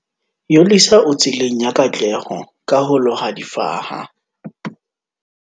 Yolisa o tseleng ya katleho ka ho loha difaha